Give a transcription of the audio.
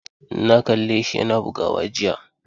Na kalle shi yana bugawa jiya.